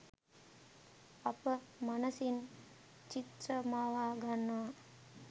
අප මනසින් චිත්‍ර මවා ගන්නවා.